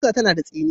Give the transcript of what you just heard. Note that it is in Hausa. Ƙusa tana da tsini.